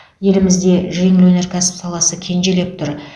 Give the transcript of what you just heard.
елімізде жеңіл өнеркәсіп саласы кенжелеп тұр